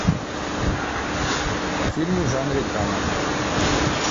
фильмы в жанре драма